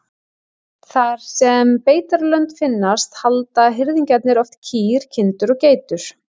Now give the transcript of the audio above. Þar sem beitarlönd finnast halda hirðingjarnir oft kýr, kindur og geitur.